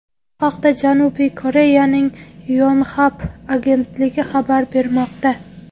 Bu haqda Janubiy Koreyaning Yonhap agentligi xabar bermoqda .